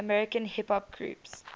american hip hop groups